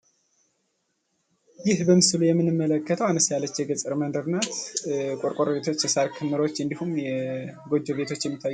ይህ በምስሉ ላይ የምንመለከተው አነስ ያለች የገጠር መንደር ናት። ቆርቆሮ ቤቶች የተሰሩባት እንዲሁም የጎጆ ቤቶች የሚታዩባት።